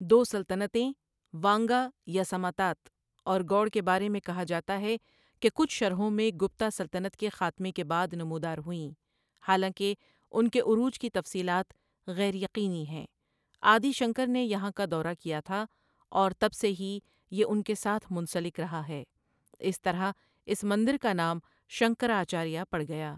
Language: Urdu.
دو سلطنتیں وانگا یا سماتات، اور گؤڑ کے بارے میں کہا جاتا ہے کہ کچھ شرحوں میں گپتا سلطنت کے خاتمے کے بعد نمودار ہوئیں حالانکہ ان کے عروج کی تفصیلات غیر یقینی ہیں آدی شنکر نے یہاں کا دورہ کیا تھا، اور تب سے ہی یہ ان کے ساتھ منسلک رہا ہے، اس طرح اس مندر کا نام شنکرآچاریہ پڑ گیا۔